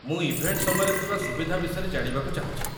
ମୁଁ ଇଭେଣ୍ଟ ସମୟରେ ଥିବା ସୁବିଧା ବିଷୟରେ ଜାଣିବାକୁ ଚାହୁଁଛି ।